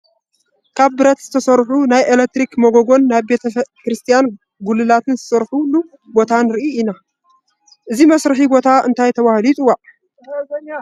ካብ ብረት ዝስርሑ ናይ ኤለክትሪክ መጎጎን፣ ናይ ቤተ ክርስቲያን ጉልላትን ዝስርሑሉ ቦታ ንርኢ ኣለና፡፡ እዚ መስርሒ ቦታ እንታይ ተባሂሉ ይፅዋዕ?